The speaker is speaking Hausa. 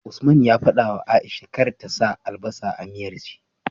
Usman ya fadawa aisha kar ta sa albasa ya a miyar shi